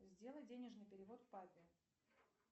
сделай денежный перевод папе